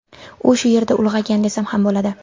U shu yerda ulg‘aygan, desam ham bo‘ladi.